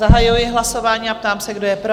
Zahajuji hlasování a ptám se, kdo je pro?